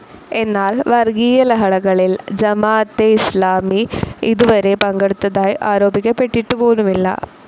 എന്നാൽ വർഗീയലഹളകളിൽ ജമാഅത്തെ ഇസ്‌ലാമി ഇതുവരേ പങ്കെടുത്തതായി ആരോപിക്കപ്പെട്ടിട്ടു പോലുമില്ല.